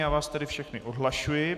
Já vás tedy všechny odhlašuji.